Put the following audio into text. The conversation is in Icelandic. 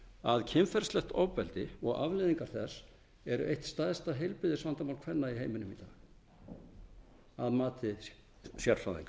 að kynferðislegt ofbeldi og afleiðingar þess eru eitt stærsta heilbrigðisvandamál kvenna í heiminum í dag að mati sérfræðinga